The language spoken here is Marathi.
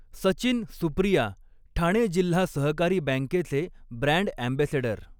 सचिन, सुप्रिया ठाणे जिल्हा सहकारी बॅंकेचे ब्रॅंड ऍम्बेसेडर